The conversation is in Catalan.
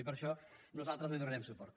i per això nosaltres li donarem suport